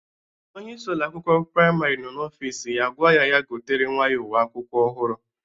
Onyeisi Ụlọ akwụkwọ praịmarị nọ n'ọfịs ya gwa ya gotere nwa ya uwe akwụkwọ ọhụrụ.